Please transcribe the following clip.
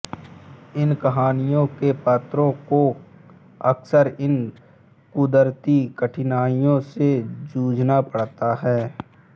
इन कहानियों के पात्रों को अक्सर इन क़ुदरती कठिनाइयों से जूझना पड़ता है